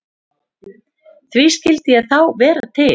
Því skyldi ég þá vera til?